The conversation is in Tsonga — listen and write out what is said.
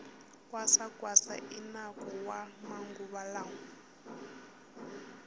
kwasa kwasa i nako wa maguva lawa